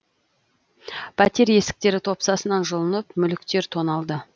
пәтер есіктері топсасынан жұлынып мүліктер тоналды